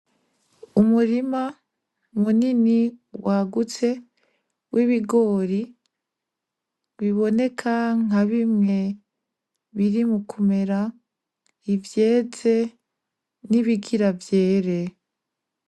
Umurima munini wagutse w'ibigori biboneka nkabimwe biri mukumera, ivyeze nibigira vyere.